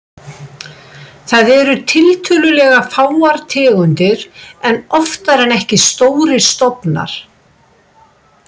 Þar eru tiltölulega fáar tegundir en oftar en ekki stórir stofnar.